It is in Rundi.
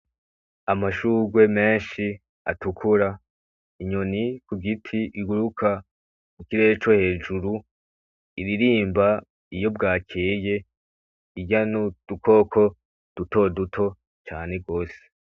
Amashurwe menshi atukura, inyoni kugiti iguruka mu kirere co hejuru iririmba iyo bwakeye irya nudukoko duto duto cane gose